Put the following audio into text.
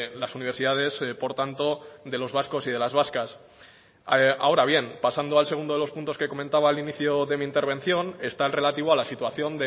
las universidades por tanto de los vascos y de las vascas ahora bien pasando al segundo de los puntos que comentaba al inicio de mi intervención está el relativo a la situación